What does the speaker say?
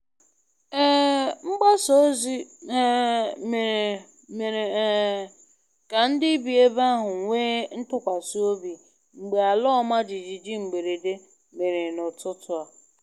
um Mgbasa ozi um mere mere um ka ndị bi ebe ahụ nwee ntụkwasị obi mgbe ala ọma jijiji mberede mere n'ụtụtụ a.